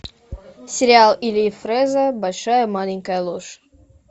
сериал ильи фрэза большая маленькая ложь